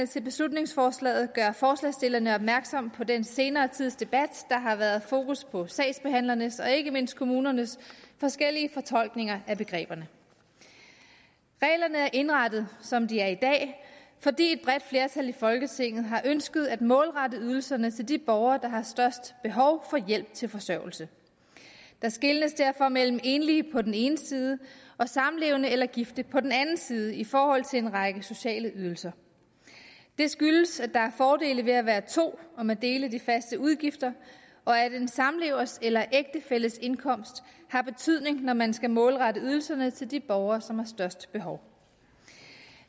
til beslutningsforslaget gør forslagsstillerne opmærksom på den senere tids debat der har været fokus på sagsbehandlernes og ikke mindst kommunernes forskellige fortolkninger af begreberne reglerne er indrettet som de er i dag fordi et bredt flertal i folketinget har ønsket at målrette ydelserne til de borgere der har størst behov for hjælp til forsørgelse der skelnes derfor mellem enlige på den ene side og samlevende eller gifte på den anden side i forhold til en række sociale ydelser det skyldes at der er fordele ved at være to om at dele de faste udgifter og at en samlevers eller ægtefælles indkomst har betydning når man skal målrette ydelserne til de borgere som har størst behov